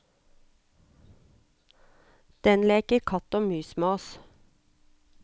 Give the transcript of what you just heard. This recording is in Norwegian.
Den leker katt og mus med oss.